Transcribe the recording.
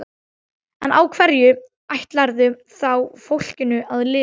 En á hverju ætlarðu þá fólkinu að lifa?